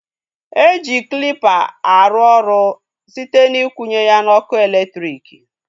E ji klịpa arụ ọrụ site na ikwunye ya n'ọkụ elektriki